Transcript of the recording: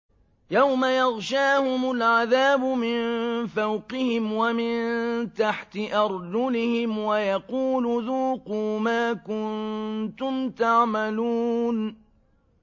يَوْمَ يَغْشَاهُمُ الْعَذَابُ مِن فَوْقِهِمْ وَمِن تَحْتِ أَرْجُلِهِمْ وَيَقُولُ ذُوقُوا مَا كُنتُمْ تَعْمَلُونَ